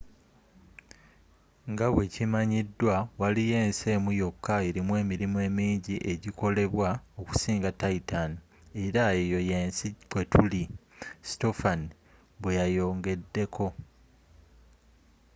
nga bwekimanyidwa waliyo ensi emu yokka erimu emirimu emingi egyikolebwa okusinga titan era eyo yensi kwetuli,” stofan bweyayongedeko